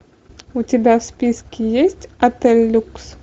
у тебя в списке есть отель люкс